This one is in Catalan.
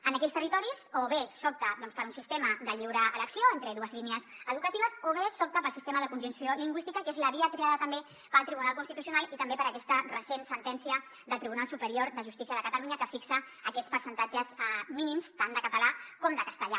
en aquells territoris o bé s’opta per un sistema de lliure elecció entre dues línies educatives o bé s’opta pel sistema de conjunció lingüística que és la via triada també pel tribunal constitucional i també per aquesta recent sentència del tribunal superior de justícia de catalunya que fixa aquests percentatges mínims tant de català com de castellà